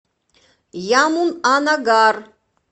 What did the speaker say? ямунанагар